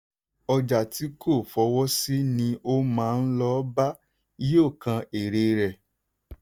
ọjà tí kò fọwọ́ sí ni o máa lọ bá yóò kan èrè rẹ.